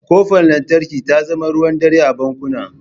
Ƙofar lantarki ta zama ruwan dare a bankuna.